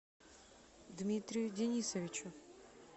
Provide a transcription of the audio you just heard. дмитрию денисовичу